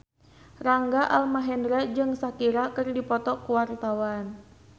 Rangga Almahendra jeung Shakira keur dipoto ku wartawan